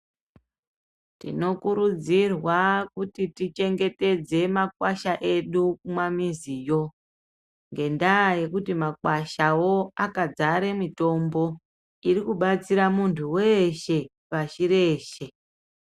Tinokurudzirwa kuti tichengetedze makwasha edu kumwamiziyo, ngendaa yekuti makwashawo akazare mutombo iri kubatsira muntu weshe pashi reshe.